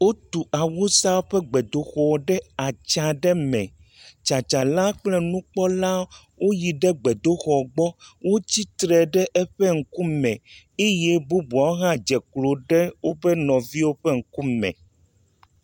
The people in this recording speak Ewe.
Wotu Awusawo ƒe xɔ ɖe atsyã aɖe me. Tsatsala kple nukpɔla woyi ɖe xɔɔgbɔ. Wotsi tre ɖe eƒe ŋkume eye bubuawo hã wodze klo ɖe woƒe nɔviwo ƒe ŋkume.